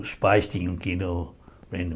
Os pais tinham que ir no